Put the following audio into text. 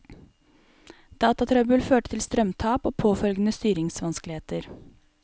Datatrøbbel førte til strømtap og påfølgende styringsvanskeligheter.